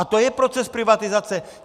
A to je proces privatizace.